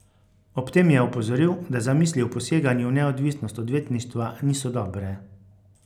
Ob tem je opozoril, da zamisli o poseganju v neodvisnost odvetništva niso dobre.